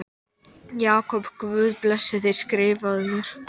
Verknaðurinn hlaut líka að hafa verið framinn í skjóli nætur.